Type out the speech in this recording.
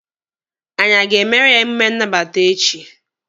Anyị aga emere ya emume nnabata echi?